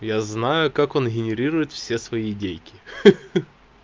я знаю как он генерирует все свои идейки ха-ха